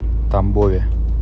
тамбове